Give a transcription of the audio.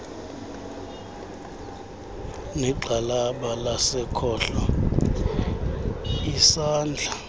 negxalaba lasekhohlo isandla